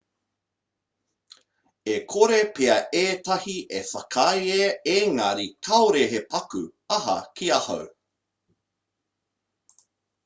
e kore pea ētahi e whakaae engari kāore he paku aha ki ahau